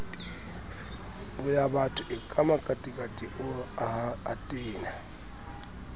boyabatho eka makatikati o tena